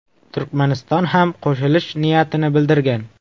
Turkmaniston ham qo‘shilish niyatini bildirgan.